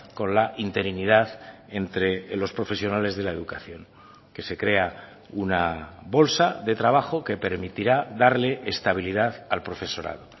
con la interinidad entre los profesionales de la educación que se crea una bolsa de trabajo que permitirá darle estabilidad al profesorado